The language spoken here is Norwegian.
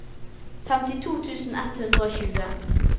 femtito tusen ett hundre og tjue